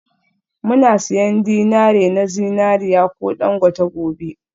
Muna siyan dinari na zinariya ko dangote gobe?